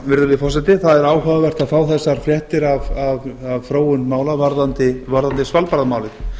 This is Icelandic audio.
virðulegi forseti það er áhugavert að fá þessar fréttir af þróun mála varðandi svalbarðamálið